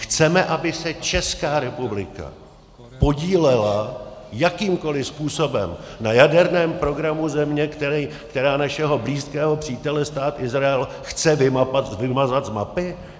Chceme, aby se Česká republika podílela jakýmkoli způsobem na jaderném programu země, která našeho blízkého přítele, Stát Izrael, chce vymazat z mapy?